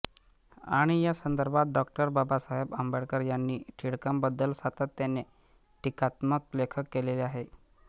आणि या संदर्भात डॉ बाबासाहेब आंबेडकर यांनी टिळकांबद्दल सातत्याने टीकात्मक लेखन केलेले आहे